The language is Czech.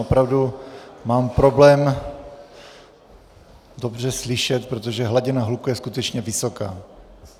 Opravdu mám problém dobře slyšet, protože hladina hluku je skutečně vysoká.